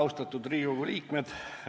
Austatud Riigikogu liikmed!